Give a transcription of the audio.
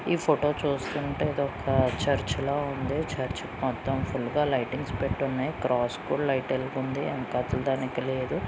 ఈ ఫొటో చూస్తుంటే ఇది ఒక చర్చ్ లా ఉంది. చర్చ్ మొత్తం ఫుల్ గా లైటింగ్స్ పెట్టున్నాయ్. క్రాస్ కూడా లైట్ వెలిగుంది. వెనకాతల దానికి లేదు.